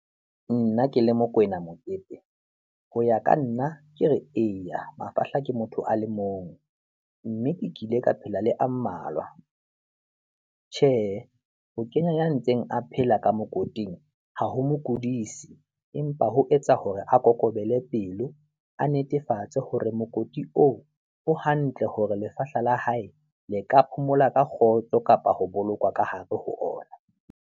Nna ke le Mokoena Mokete, ho ya ka nna, ke re eya, mafahla ke motho a le mong mme ke kile ka phela le a mmalwa. Tjhehe, ho kenya ya ntseng a phela ka mokoti ha ho mo kudisi empa ho etsa hore a kokobele pelo, a netefatse hore mokoti oo o hantle hore lefahla la hae le ka phomola ka kgotso kapa ho bolokwa ka hare ho ona.